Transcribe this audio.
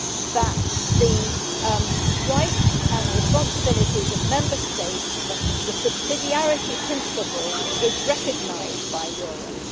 that the rights and responsibilities of Member States and the subsidiarity principle be recognised by Europe.